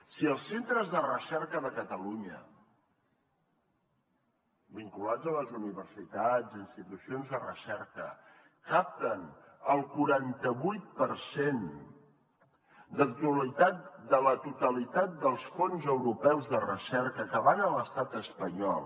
si els centres de recerca de catalunya vinculats a les universitats i institucions de recerca capten el quaranta vuit per cent de la totalitat dels fons europeus de recerca que van a l’estat espanyol